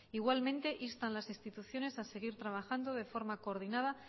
igualmente insta en las instituciones a seguir trabajando de forma coordinada